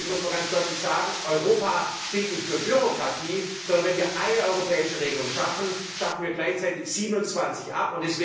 Deswegen muss man ganz deutlich sagen Europa steht nicht für Bürokratie, sondern mit einer europäischen Regelung schaffen wir gleichzeitig 27 ab.